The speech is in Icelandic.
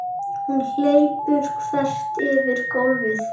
Hún hleypur þvert yfir gólfið.